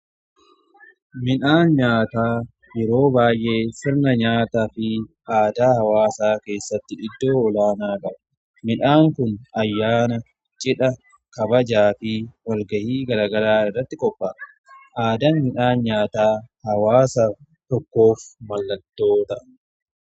Midhaan nyaataa yeroo baay'ee sirna nyaataa fi aadaa hawaasaa keessatti iddoo olaanaa qaba. Midhaan kun ayyaana, cidha, kabajaa fi walga'ii garagaraa irratti qophaa'a. Aadaan midhaan nyaataa hawaasa tokkoof mallattoo ta'a.